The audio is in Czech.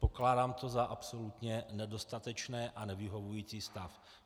Pokládám to za absolutně nedostatečné a nevyhovující stav.